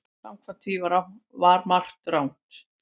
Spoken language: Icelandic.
Samkvæmt því var margt að.